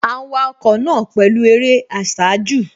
À ń wa ọkọ̀ náà pẹ̀lú eré àsájù